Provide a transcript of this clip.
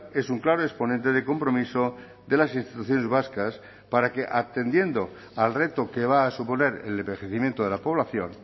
es un claro exponente de compromiso de las instituciones vascas para que atendiendo al reto que va a suponer el envejecimiento de la población